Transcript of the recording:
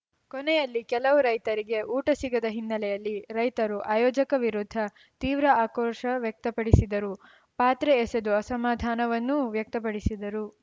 ಕೊನೆಯಲ್ಲಿ ಕೆಲವು ರೈತರಿಗೆ ಊಟ ಸಿಗದ ಹಿನ್ನೆಲೆಯಲ್ಲಿ ರೈತರು ಆಯೋಜಕ ವಿರುದ್ಧ ತೀವ್ರ ಆಕ್ರೋಶ ವ್ಯಕ್ತಪಡಿಸಿದರು ಪಾತ್ರೆ ಎಸೆದು ಅಸಮಾಧಾನವನ್ನೂ ವ್ಯಕ್ತಪಡಿಸಿದರು